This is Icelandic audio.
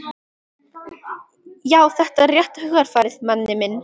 Já, þetta er rétta hugarfarið, Manni minn.